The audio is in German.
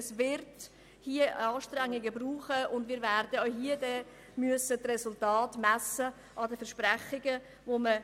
Es wird Anstrengungen brauchen, und wir werden auch hier die Resultate an den gemachten Versprechungen messen.